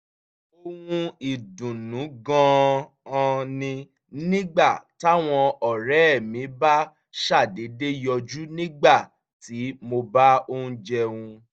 ohun ìdùnnú gan-an ni nígbà táwọn ọ̀rẹ́ mi bá ṣàdédé yọjú nígbà tí mo bá ń jẹun